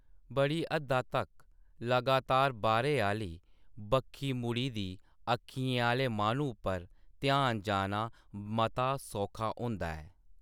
बड़ी हद्दा तगर लगातार बाह्‌‌रै आह्‌ली बक्खी मुड़ी दी अक्खियें आह्‌‌‌ले माह्‌नू पर ध्यान जाना मता सौखा होंदा ऐ।